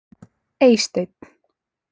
Eysteinn